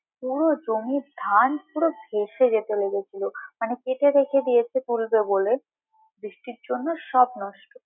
পুরো জমির ধান পুরো ভেসে চলে গিয়েছিলো মানে কেটে রেখে দিয়েছিলো তুলবে বলে, বৃষ্টির জন্য সব নষ্ট।